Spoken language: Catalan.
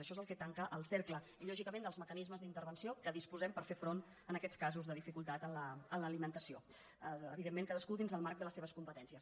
això és el que tanca el cercle i lògicament els mecanismes d’intervenció que disposem per fer front en aquests casos de dificultat en l’alimentació evidentment cadascú dins del marc de les seves competències